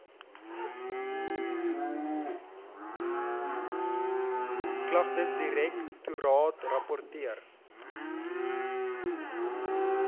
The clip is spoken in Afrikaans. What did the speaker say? klagtesdirek toraat rapporteer